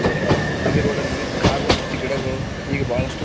ಅರೆ ಇದು ರೋಡಲ್ಲಿದೆ ಕಾರು ಮತ್ತು ಗಿಡಗಳು ಇಗ್ ಬಹಳಷ್ಟು--